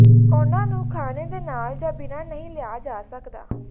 ਉਨ੍ਹਾਂ ਨੂੰ ਖਾਣੇ ਦੇ ਨਾਲ ਜਾਂ ਬਿਨਾ ਨਹੀਂ ਲਿਆ ਜਾ ਸਕਦਾ